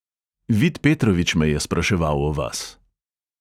Vid petrovič me je spraševal o vas.